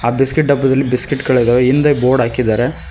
ಆ ಬಿಸ್ಕೆಟ್ ಡಬ್ಬದಲ್ಲಿ ಬಿಸ್ಕೆಟ್ ಗಳಿದಾವೆ ಹಿಂದೆ ಬೋರ್ಡ್ ಹಾಕಿದ್ದಾರೆ.